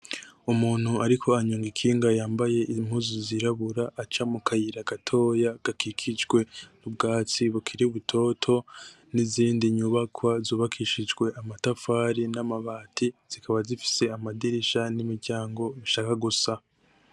Umuntu ariko aranyonga ikinga yambaye impuzu zirabura aca mu kayira gatoya gakikijwe n´ubwatsi bukiri butoto n´izindi nyubakwa zubakishijwe amatafari n´amabati zikaba zifise amadirisha n´imiryango ishaka gusa.